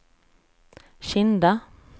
Kinda